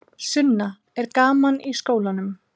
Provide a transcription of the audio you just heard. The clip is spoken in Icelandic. Sunna: Er gaman í skólanum?